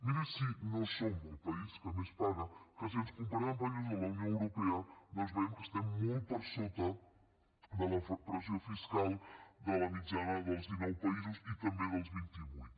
miri si no som el país que més paga que si ens comparem amb països de la unió europea veiem que estem molt per sota de la pressió fiscal de la mitjana dels dinou països i també dels vint i vuit